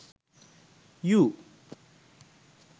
you